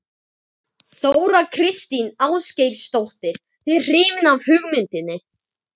Þóra Kristín Ásgeirsdóttir:. þið hrifin af hugmyndinni?